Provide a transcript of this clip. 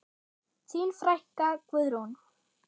Þín frænka, Guðrún.